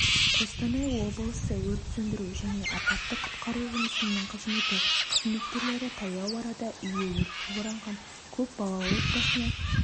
қостанай облысы өрт-сөндіру және апатты-құтқару жұмысының қызметі қызметкерлері таяу арада үйі өртке оранған көп балалы отбасына